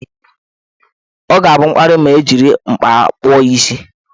Ọ ga-abụ mkparị ma ejiri mkpa kpụọ ya isi.